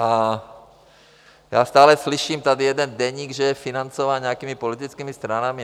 A já stále slyším tady, jeden deník že je financován nějakými politickými stranami.